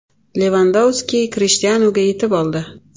Levandovski Krishtianuga yetib oldi.